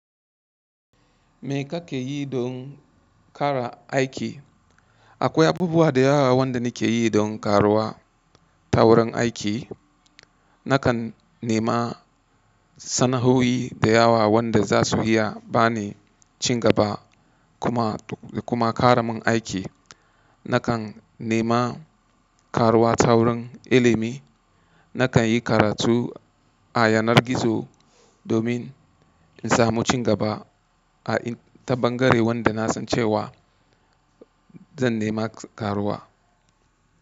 Me ka ke yi don ƙara aiki? Akwai abubuwa da yawa wanda ni ke yi don ƙaruwa ta wurin aiki. Nakan nema sana'oi da yawa wanda za su iya ba ni cin gaba kuma, kuma ƙara min aiki. Nakan nema ƙaruwa taurin ilimi. Nakan yi karatu a yanar gizo domin in samu cin gaba a in ta bangare wanda na san cewa zan nema ƙaruwa.